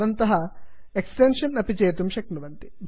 भवन्तः एक्सेप्षन् अपि चेतुं शक्नुवन्ति